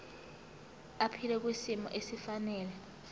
aphile kwisimo esifanele